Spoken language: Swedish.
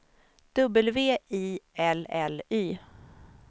W I L L Y